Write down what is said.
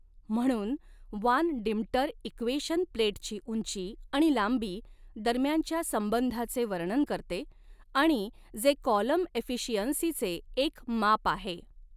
म्हणून Van Deemter equation प्लेटची उंची आणि लांबी दरम्यानच्या संबंधाचे वर्णन करते आणि जे कॉलम एफिशिअंसीचे एक माप आहे.